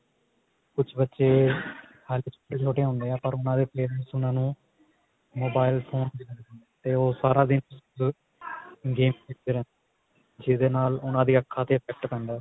ਕੁਛ ਬੱਚੇ ਹਲੇ ਛੋਟੇ ਹੁੰਦੇ ਆ ਪਰ ਉਹਨਾ ਦੇ parents ਉਹਨਾ ਨੂੰ mobile phone ਦੇ ਦਿੰਦੇ ਨੇ ਤੇ ਉਹ ਸਾਰਾ ਦਿਨ game ਖੇਡ ਦੇ ਰਹਿੰਦੇ ਨੇ ਜਿਹਦੇ ਨਾਲ ਉਹਨਾ ਦੀ ਅੱਖਾ ਤੇ effect ਪੈਂਦਾ